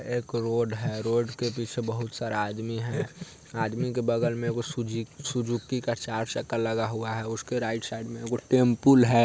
एक रोड है रोड के पीछे बहुत सारे आदमी हैं। आदमी के बगल में एगो सुजु-सुजुकी का चार चक्का लगा हुआ है उसके राइट साइड मे एगो टेमपुल है